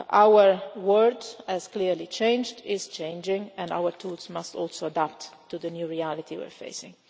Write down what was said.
agenda. Our world has clearly changed and is changing, and our tools must also adapt to the new reality we are